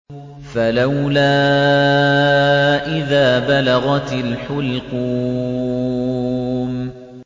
فَلَوْلَا إِذَا بَلَغَتِ الْحُلْقُومَ